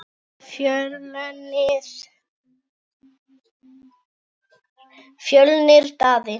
Fjölnir Daði.